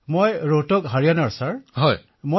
অখিলঃ মোৰ ঘৰ হাৰিয়াণাৰ ৰোহটকত মহাশয়